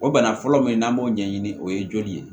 O bana fɔlɔ min n'an b'o ɲɛɲini o ye joli ye